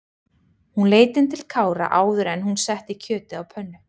Hún leit inn til Kára áður en hún setti kjötið á pönnu.